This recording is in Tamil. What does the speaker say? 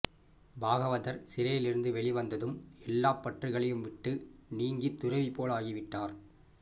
பாகவதர் சிறையிலிருந்து வெளிவந்ததும் எல்லாப் பற்றுகளையும் விட்டு நீங்கிய துறவிபோல் ஆகிவிட்டார்